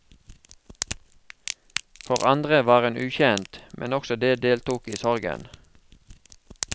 For andre var hun ukjent, men også de deltok i sorgen.